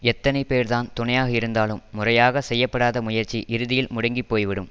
எத்தனை பேர்தான் துணையாக இருந்தாலும் முறையாகச் செய்ய படாத முயற்சி இறுதியில் முடங்கி போய்விடும்